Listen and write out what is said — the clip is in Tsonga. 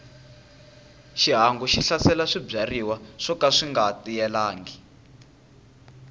xihangu xi hlasela swibyariwa swoka swinga tiyelangi